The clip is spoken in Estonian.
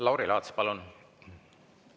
Lauri Laats, palun!